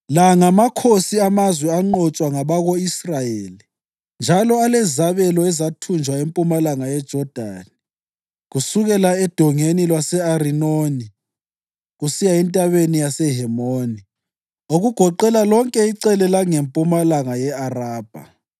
La ngamakhosi amazwe anqotshwa ngabako-Israyeli njalo alezabelo ezathunjwa empumalanga yeJodani, kusukela eDongeni lwase-Arinoni kusiya entabeni yaseHemoni, okugoqela lonke icele langempumalanga ye-Arabha: